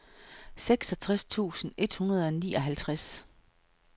seksogtres tusind et hundrede og nioghalvtreds